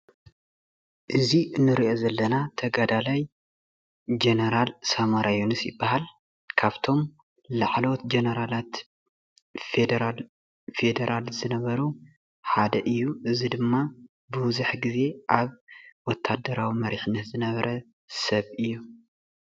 እዚ እንሪኦ ዘለና ተጋዳላይ ጀነራል ሳሞራ የኑስ ይባሃል፡፡ ካብቶም ላዕለወት ጀነራላት ፌደራል ዝነበሩ ሓደ እዩ፡፡ እዚ ድማ ቡዙሕ ግዜ ኣብ ወታደራዊ መሪሕነት ዝነበረ ሰብ እዩ፡፡